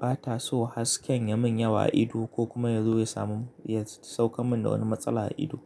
ba ta so hasken ya min yawa a ido ko kuma ya zo ya sauke min wani matsala a ido.